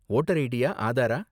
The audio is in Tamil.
வோட்டர் ஐடியா ஆதாரா?